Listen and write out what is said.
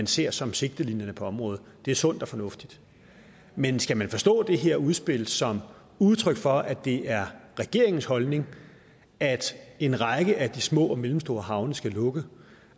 ser som sigtelinjerne på området det er sundt og fornuftigt men skal man forstå det her udspil som udtryk for at det er regeringens holdning at en række af de små og mellemstore havne skal lukke